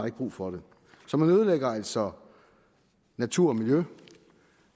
ikke brug for det så man ødelægger altså natur og miljø